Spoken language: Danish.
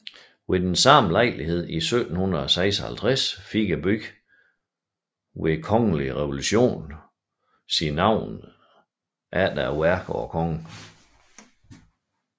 Ved samme lejlighed i 1756 fik byen ved kongelig resolution sit navn efter værket og kongen